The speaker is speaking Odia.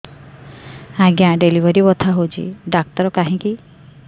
ଆଜ୍ଞା ଡେଲିଭରି ବଥା ହଉଚି ଡାକ୍ତର କାହିଁ କି